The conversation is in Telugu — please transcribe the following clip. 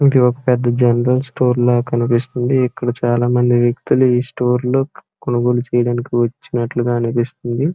ఒకే ఒక పెద్ద జనరల్ స్టోర్ ల కనిపిస్తుంది. ఇక్కడ చాలా మంది వ్యక్తులు ఈ స్టోర్ లో కొనుగోలు చేయడానికి వచ్చినట్లుగా అనిపిస్తుంది.